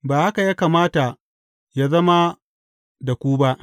Ba haka ya kamata yă zama da ku ba.